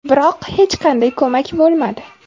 Biroq hech qanday ko‘mak bo‘lmadi.